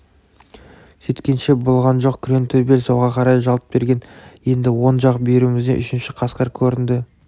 сөйткенше болған жоқ күреңтөбел солға қарай жалт берген енді оң жақ бүйірімізден үшінші қасқыр көрінді